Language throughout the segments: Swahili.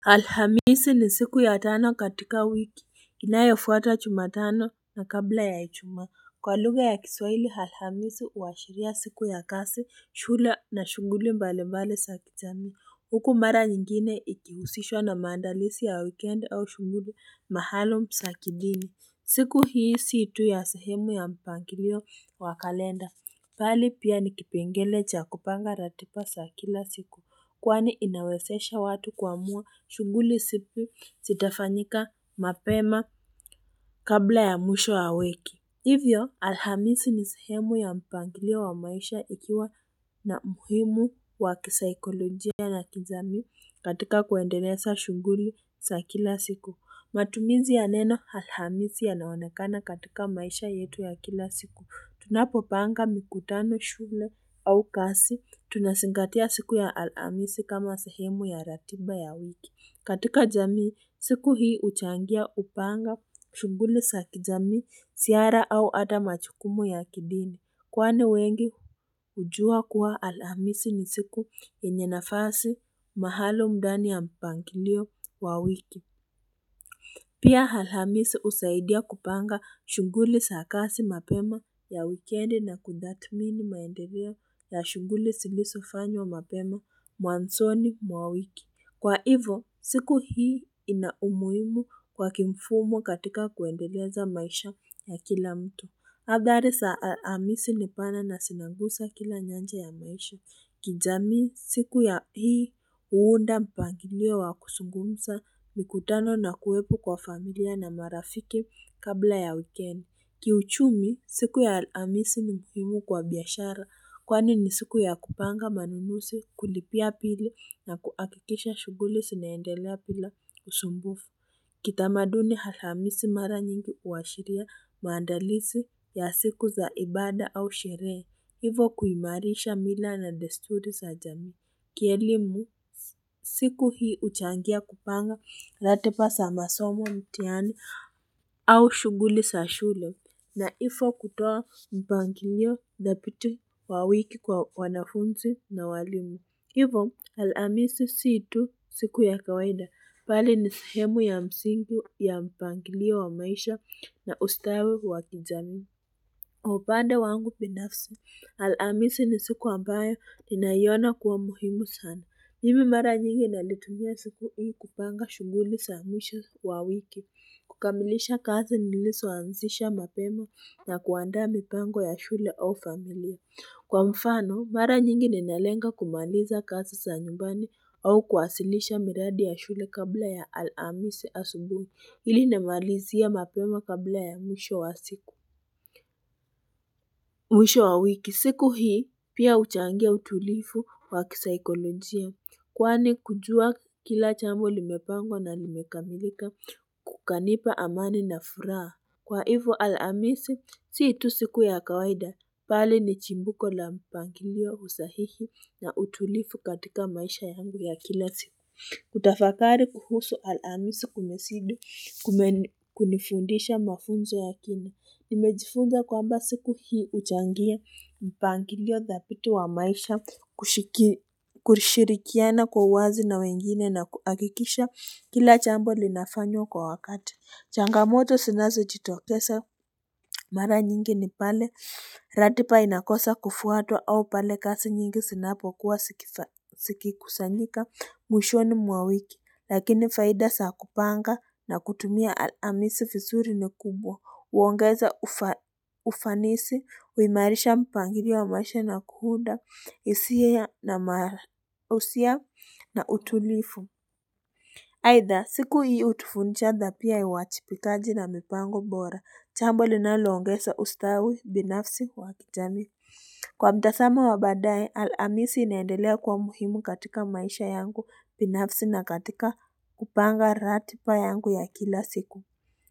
Alhamisi ni siku ya tano katika wiki inayo fuata chuma tano na kabla ya ichuma kwa lugha ya kiswaili alhamisi uwashiria siku ya kasi shule na shunguli mbalimbali sa kichamii huku mara nyingine ikiusishwa na maandalisi ya weekend au shunguli mahalum sa kidini siku hii si tu ya sehemu ya mpangilio wa kalenda, pali pia ni kipengele cha kupanga ratipa sa kila siku, kwani inawesesha watu kuamua shunguli sipi sitafanyika mapema kabla ya mwisho wa wiki. Hivyo, alhamisi ni sehemu ya mpangilio wa maisha ikiwa na muhimu wa kisaikolojia na kijamii katika kuendeleza shunguli sa kila siku. Matumizi ya neno alhamisi yanaonekana katika maisha yetu ya kila siku Tunapo panga mikutano shule au kasi Tunasingatia siku ya alhamisi kama sehemu ya ratiba ya wiki katika jamii siku hii uchangia upanga shuguli sa kijamii siara au ata machukumu ya kidini Kwani wengi ujua kuwa alhamisi ni siku yenye nafasi mahalum ndani ya mpangilio wa wiki Pia halamisi usaidia kupanga shunguli sa kasi mapema ya wikendi na kudhatmini maendereo ya shunguli silisofanywa mapema mwansoni mwa wiki. Kwa hivo, siku hii ina umuimu kwa kimfumo katika kuendeleza maisha ya kila mtu. Adhari sa alamisi ni pana na sinagusa kila nyanja ya maisha. Kijamii siku ya hii uunda mpangilio wa kusungumsa mikutano na kuwepo kwa familia na marafiki kabla ya wikend. Kiuchumi siku ya alamisi ni muhimu kwa biashara kwani ni siku ya kupanga manunusi kulipia pili na kuakikisha shuguli sinaendelea pila usumbufu. Kitamaduni halhamisi mara nyingi uwashiria maandalizi ya siku za ibada au sherehe Hivo kuimarisha mila na desturi sa jamii Kielimu siku hii uchangia kupanga ratipa sa masomo mtiani au shuguli sa shule Naifo kutoa mpangilio dhapiti wa wiki kwa wanafunzi na walimu Hivo, alamisi situ siku ya kawaida, pali ni sehemu ya msingi ya mpangilia wa maisha na ustawi wa kijamii. Hupande wangu pinafsi, alamisi ni siku ambayo, ninaiyona kuwa muhimu sana. Mimi mara nyingi nalitumia siku hii kupanga shuguli sa mwisho wa wiki, kukamilisha kazi niliso anzisha mapemo na kuandaa mipango ya shule au familia. Kwa mfano, mara nyingi ninalenga kumaliza kasi sa nyumbani au kuwasilisha miradi ya shule kabla ya alamisi asubuni. Ili namalizia mapema kabla ya mwisho wa siku. Mwisho wa wiki. Siku hii pia uchangia utulifu kwa kisaikolojia. Kwani kujua kila chambo limepangwa na limekamilika kukanipa amani na furaa. Kwa hivo alamisi, si itu siku ya kawaida, pali ni chimbuko la mpangilio usahihi na utulifu katika maisha yangu ya kila siku. Kutafakari kuhusu alamisi kumesidi kunifundisha mafunzo ya kina. Nimejifunza kwamba siku hii uchangia mpangilio dhapiti wa maisha kushirikiana kwa wazi na wengine na kuakikisha kila chambo linafanywa kwa wakati. Changamoto sinazo jitokesa mara nyingi ni pale Ratipa inakosa kufuatwa au pale kasi nyingi sinapo kuwa siki kusanyika mwishoni mwa wiki Lakini faida saa kupanga na kutumia alamisi fizuri ni kubwa uongeza ufanisi Uimarisha mpangirio wa maisha na kuhunda isia na mara usia na utulifu Haidha siku hii utufundisha dhapia uwachipikaji na mipango bora, chambo linaloongesa ustawi binafsi wakijamii. Kwa mtasamo wabadaye, alamisi inaendelea kwa muhimu katika maisha yangu binafsi na katika kupanga ratipa yangu ya kila siku.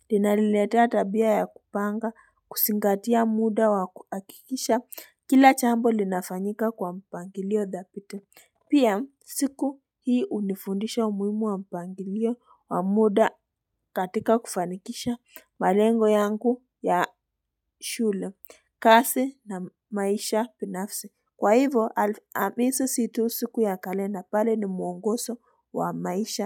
Linaliletea tabia ya kupanga, kusingatia muda wa kuakikisha, kila chambo linafanyika kwa mpangilio dhapiti. Pia siku hii unifundisha umuimu wa mpangilio wa muda katika kufanikisha malengo yangu ya shule kasi na maisha pinafsi kwa hivyo alamisi si tu siku ya kalenda pali ni mwongoso wa maisha.